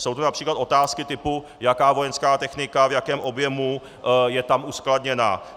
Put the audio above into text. Jsou to například otázky typu jaká vojenská technika, v jakém objemu je tam uskladněna.